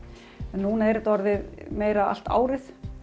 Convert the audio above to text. en núna er þetta orðið meira allt árið